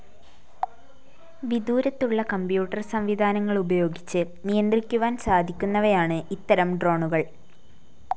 വിദൂരത്തുള്ള computer സംവിധാനങ്ങളുപയോഗിച്ച് നിയന്ത്രിക്കുവാൻ സാധിക്കുന്നവയാണ് ഇത്തരം ഡ്രോണുകൾ